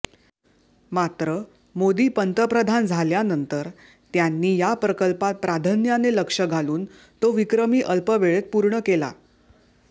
मात्र मोदी पंतप्रधान झाल्यानंतर त्यांनी या प्रकल्पात प्राधान्याने लक्ष घालून तो विक्रमी अल्पवेळेत पूर्ण केला